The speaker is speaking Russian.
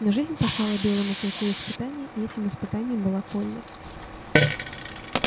но жизнь послала белому клыку испытание и этим испытанием была койлли